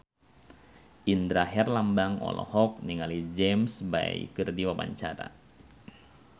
Indra Herlambang olohok ningali James Bay keur diwawancara